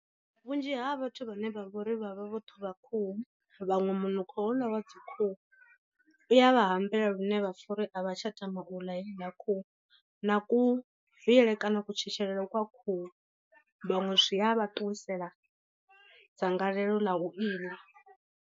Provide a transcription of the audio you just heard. Vhunzhi ha vhathu vhane vha vhori vhavha vho ṱhuvha khuhu vhaṅwe munukho houḽa wa dzi khuhu, i ya vha hambela lune vhapfa uri a vha tsha tama u ḽa heiḽa khuhu, na ku viele kana kutshetshelele kwa khuhu vhaṅwe zwi a vha ṱuwisela dzangalelo ḽa u iḽa.